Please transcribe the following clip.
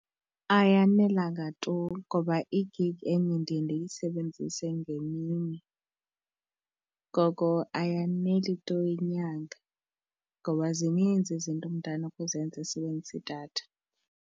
Ayanelanga tu ngoba igigi enye ndiye ndiyisebenzise ngemini, ngoko ayaneli tu inyanga ngoba zininzi izinto umntu anokuzenza esebenzisa idatha.